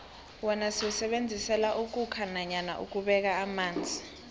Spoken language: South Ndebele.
wona siwusebenzisela ukhukha nanyana ukubeka amanzi